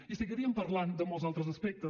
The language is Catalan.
i seguiríem parlant de molts altres aspectes